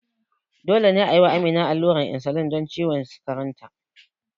Dole ne a yi wa Amina allurar insulin don ciwon sukarinta.